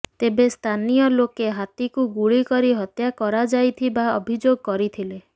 ତେବେ ସ୍ଥାନୀୟ ଲୋକେ ହାତୀକୁ ଗୁଳି କରି ହତ୍ୟା କରାଯାଇଥିବା ଅଭିଯୋଗ କରିଥିଲେ